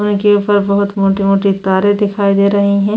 उनके ऊपर बहुत मोटे-मोटे तारे दिखाई दे रही हैं।